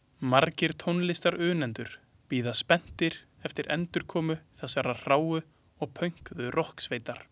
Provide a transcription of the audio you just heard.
Margir tónlistarunnendur bíða spenntir eftir endurkomu þessarar hráu og pönkuðu rokksveitar.